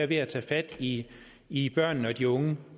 ved at tage fat i i børnene og de unge